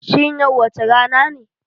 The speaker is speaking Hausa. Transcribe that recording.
Shin yau wace rana ne